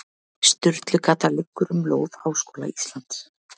Sturlugata liggur um lóð Háskóla Íslands.